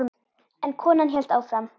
En konan hélt áfram